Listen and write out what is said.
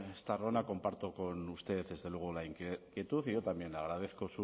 estarrona comparto con usted desde luego la inquietud y yo también le agradezco